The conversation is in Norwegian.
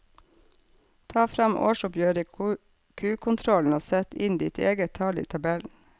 Ta fram årsoppgjøret i kukontrollen og sett inn ditt eget tall i tabellen.